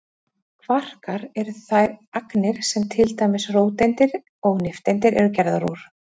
kvarkar eru þær agnir sem til dæmis róteindir og nifteindir eru gerðar úr